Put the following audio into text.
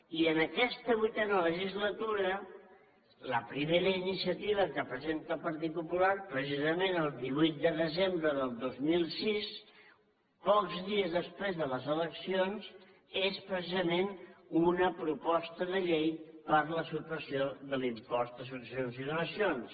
i en aquesta vuitena legislatura la primera iniciativa que presenta el partit popular precisament el divuit de desembre del dos mil sis pocs dies després de les eleccions és precisament una proposta de llei per a la supressió de l’impost de successions i donacions